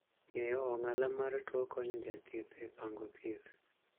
Ng'eyo ong'ala mar tuo konyo jathieth e pango thieth.